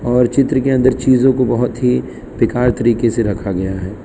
और चित्र के अंदर चीजों को बहुत ही बेकार तरीके से रखा गया है।